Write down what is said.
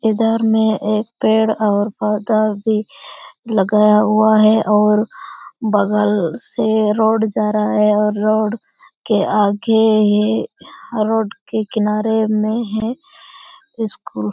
इधर में एक पेड़ और पौधा भी लगाया हुआ है और बगल से रोड जा रहा है और रोड के आगे ही रोड के किनारे में है स्कूल ।